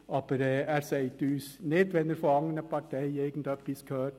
Aber er sagt uns nicht, wenn er von anderen Parteien etwas hört.